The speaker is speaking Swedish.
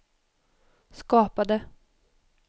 skapade